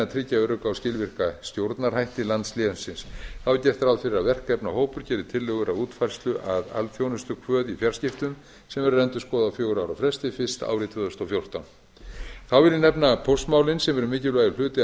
tryggja örugga og skilvirka stjórnarhætti landslénsins þá er gert ráð fyrir að verkefnahópur geri tillögur að útfærslu að alþjónustukvöð í fjarskiptum sem verður að endurskoða á fjögurra ára fresti fyrst árið tvö þúsund og fjórtán þá vil ég nefna póstmálin sem eru mikilvægur hluti af